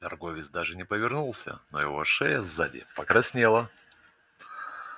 торговец даже не повернулся но его шея сзади покраснела